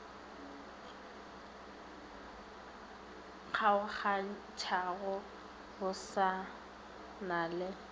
kgaogantšhago go sa na le